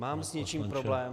Mám s něčím problém.